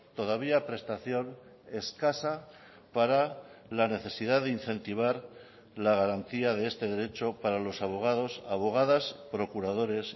todavía prestación escasa para la necesidad de incentivar la garantía de este derecho para los abogados abogadas procuradores